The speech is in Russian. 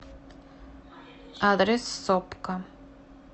адрес сопка